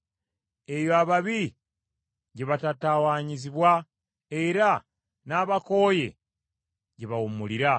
Eyo ababi gye batatawaanyizibwa, era n’abakooye gye bawummulira.